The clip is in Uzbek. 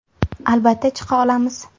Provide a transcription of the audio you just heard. Albatta chiqa olamiz.